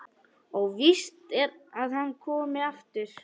Óvíst að hann komi aftur.